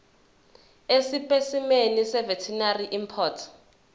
esipesimeni seveterinary import